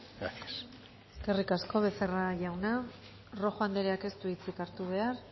gracias eskerrik asko becerra jauna rojo andrea ez du hitzik hartu behar